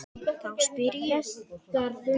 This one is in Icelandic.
Þá spyr ég.